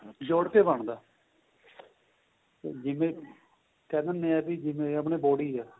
ਜੋੜ ਕੇ ਬਣਦਾ ਜਿਵੇਂ ਕਹਿ ਦਿੰਨੇ ਆਂ ਵੀ ਜਿਵੇਂ ਆਪਣੀ body ਏਹ